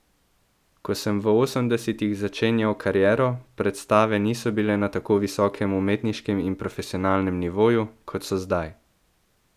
Ko sem v osemdesetih začenjal kariero, predstave niso bile na tako visokem umetniškem in profesionalnem nivoju, kot so zdaj.